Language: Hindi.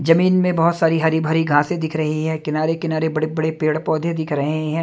जमीन में बहोत सारी हरी भरी घासें दिख रही है किनारे किनारे बड़े बड़े पेड़ पौधे दिख रहे हैं।